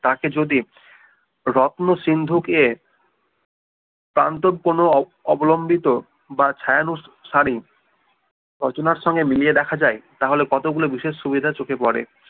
তাকে যদি রত্ন সিন্দুকে প্রান্তব কোনো অবলম্বিত বা ছায়ানুসারি রচনার সঙ্গে মিলিয়ে দেখা যায় তাহলে কতগুলো বিষয় সুবিধে চোখে পরে